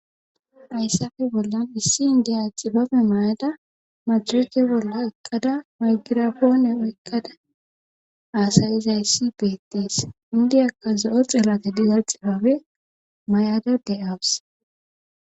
ayssafe bollan issi indiyaaci babe may7ada majrote bolla ekkada maygirapoone oykkada aasayiza yssi beetties indiyakka zo7o xelate diza xipabe may7ada deyawus